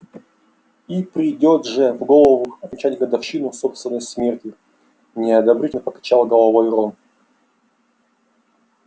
и придёт же в голову отмечать годовщину собственной смерти неодобрительно покачал головой рон